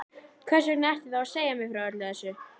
Hversvegna ertu þá að segja mér frá öllu þessu?